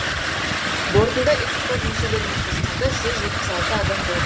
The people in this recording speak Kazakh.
бортында экипаж мүшелерімен қосқанда жүз жетпіс алты адам болған